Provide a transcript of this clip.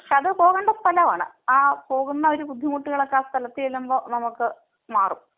പോവേണ്ട സ്ഥലം ആണ്. ആ പോവുന്ന ഒരു ബുദ്ധിമുട്ടുകളൊക്കെ ആ സ്ഥലത്ത് ചെന്നങ്ങു നമുക്ക് മാറും.